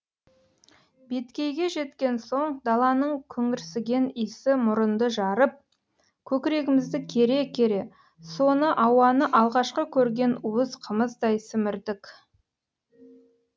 беткейге жеткен соң даланың күңірсіген исі мұрынды жарып көкірегімізді кере кере соны ауаны алғашқы көрген уыз қымыздай сімірдік